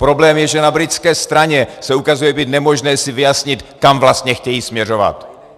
Problém je, že na britské straně se ukazuje být nemožné si vyjasnit, kam vlastně chtějí směřovat.